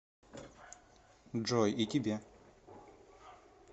джой и тебе